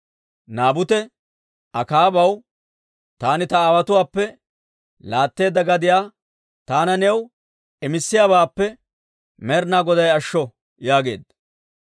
Naabute Akaabaw, «Taani ta aawotuwaappe laatteedda gadiyaa taana new imissiyaabaappe Med'inaa Goday ashsho» yaageedda.